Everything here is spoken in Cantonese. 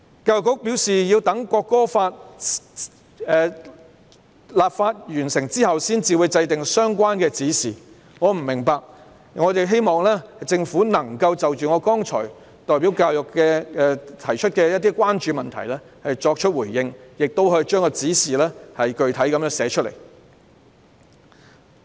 教育局表示要待《條例草案》立法完成後才會制訂相關的指示，我不明白為何要等待，希望政府能夠就我剛才代表教育界提出的關注作出回應，亦可以把指示具體地寫出來。